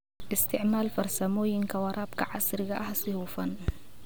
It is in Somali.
Isticmaal farsamooyinka waraabka casriga ah si hufan.